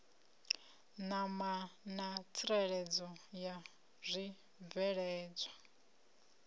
ṋama na tsireledzo ya zwibveledzwa